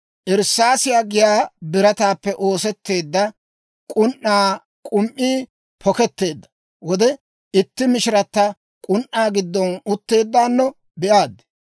Irssaasiyaa giyaa birataappe oosetteedda k'un"aa k'um"ii poketteedda wode itti mishiratta k'un"aa giddon utteeddaano be'aad.